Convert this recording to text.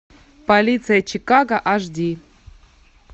полиция чикаго аш ди